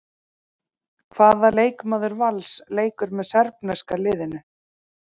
Hvaða leikmaður Vals leikur með serbneska liðinu?